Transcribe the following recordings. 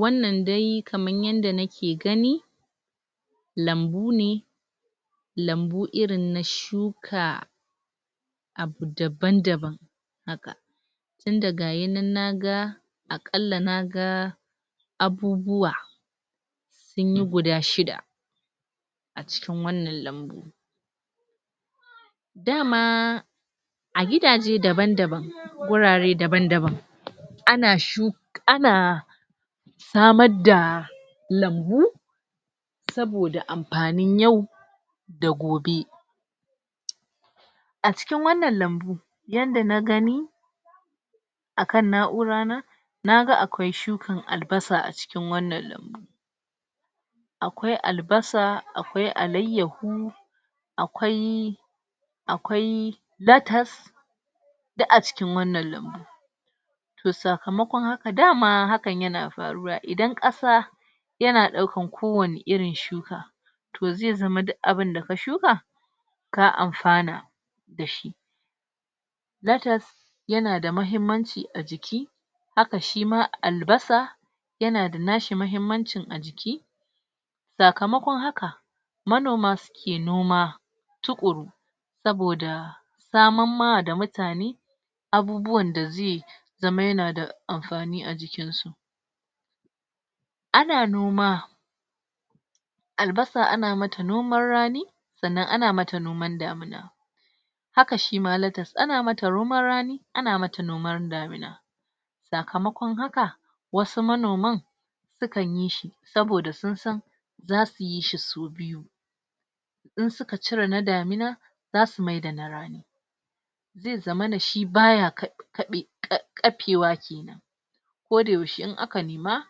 Wannan dai kaman yanda nake gani lambu ne lambu irin na shuka abu daban-daban haka tinda gayinan naga akalla naga abubuwa sunyi guda shida a cikin wannan lambu. Dama a gidaje daban-daban wurare daban-daban ana shuk ana samar da lambu saboda ampanin yau da gobe. A cikin wannan lambun, yadda na gani akan na'urana naga akwai shukan albasa a cikin wannan lambun akwai albasa, akwai alayyahu, akwai akwai latas, duk a cikin wannan lambu. Toh sakamakon haka dama hakan yana faruwa idan ƙasa yana ɗaukan ko wani irin shuka toh ze zama duk abinda ka shuka, ka amfana dashi. Latas yana da mahimmanci a jiki haka shima albasa yana da nashi mahimmancin a jiki. Sakamakon haka manoma suke noma tuƙuru. Saboda saman ma da mutane abubuwan da ze zama yana da mafani a jikin su. Ana noma albasa ana mata noman rani, sannan ana mata noman damuna, haka shima latas ana mata noman rani, ana mata noman damina. Sakamakon haka wasu manoman sukan yi shi saboda sun san zasu yi shi su biyu idan suka cire na damina, zasu maida na rani ze zamana shi baya kaɓe ka ƙapewa kenan koda yaushe in aka nema,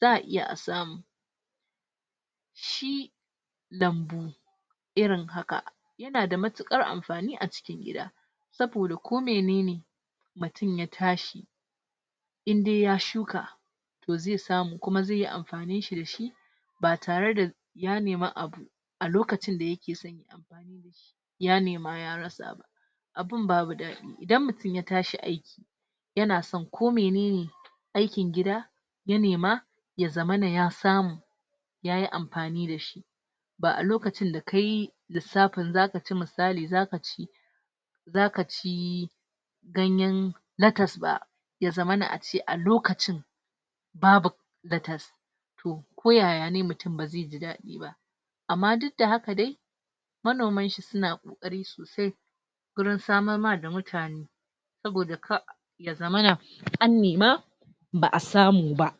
za'a iya a samu shi lambu irin haka yana da matuƙar ampani a cikin gida saboda ko menene mutum ya tashi indai ya shuka toh ze samu kuma zeyi ampanin shi dash ba tarada ya nema abu a lokacin da yake son yayi ampani dashi ya nema ya rasa ba abun babu daɗi. Idan mutum ya tash aiki, yana san ko menene aikin gida ya nema ya zamana ya samu yayi ampani dashi ba'a lokacin da kayi lissapin zaka ci misali zaka ci zaka ci ganyan latas ba ya zamana a ce a lokacin babu latas toh ko yaya ne mutum ba ze ji daɗi ba amma duk da haka dai manomanshi suna ƙoƙari sosai gurin samarma da mutane saboda kar ya zaman an nema ba'a samu ba.